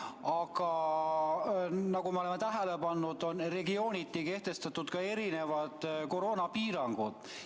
Aga nagu me oleme tähele pannud, on regiooniti kehtestatud erinevad koroonapiirangud.